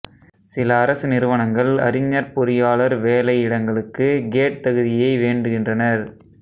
சில அரசு நிறுவனங்கள் அறிஞர்பொறியாளர் வேலையிடங்களுக்கு கேட் தகுதியை வேண்டுகின்றனர்